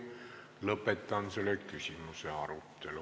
Lõpetan selle küsimuse arutelu.